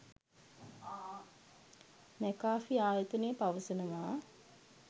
McAfee ආයතනය පවසනවා